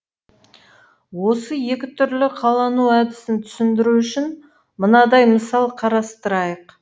осы екі түрлі қалану әдісін түсіндіру үшін мынадай мысал қарастырайық